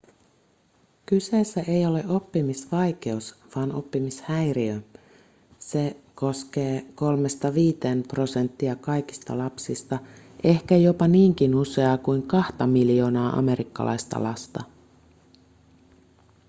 kyseessä ei ole oppimisvaikeus vaan oppimishäiriö se koskee 3-5 prosenttia kaikista lapsista ehkä jopa niinkin useaa kuin kahta miljoonaa amerikkalaista lasta